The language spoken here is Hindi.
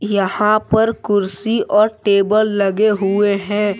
यहां पर कुर्सी और टेबल लगे हुए हैं।